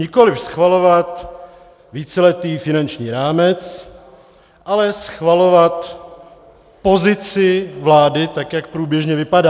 Nikoliv schvalovat víceletý finanční rámec, ale schvalovat pozici vlády, tak jak průběžně vypadá.